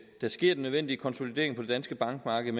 der sker den nødvendige konsolidering på det danske bankmarked